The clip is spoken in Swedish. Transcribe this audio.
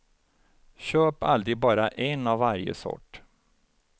Köp aldrig bara en av varje sort.